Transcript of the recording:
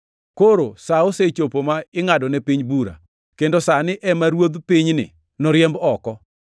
Koro sa osechopo ma ingʼadone piny bura, kendo sani ema ruodh pinyni noriemb oko.